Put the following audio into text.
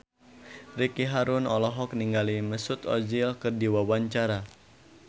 Ricky Harun olohok ningali Mesut Ozil keur diwawancara